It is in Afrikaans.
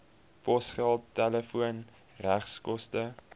posgeld telefoon regskoste